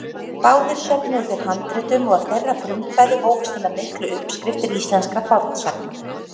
Báðir söfnuðu þeir handritum og af þeirra frumkvæði hófust hinar miklu uppskriftir íslenskra fornsagna.